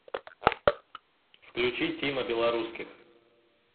включи тима белорусских